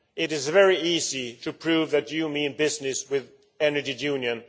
It is very easy to prove that you mean business with Energy Union.